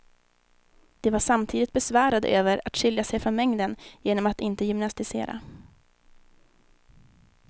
De var samtidigt besvärade över att skilja sig från mängden genom att inte gymnastisera.